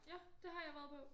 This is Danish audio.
Ja det har jeg været på